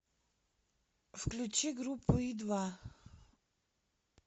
включи группу и два